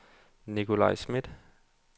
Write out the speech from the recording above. Nicolaj Schmidt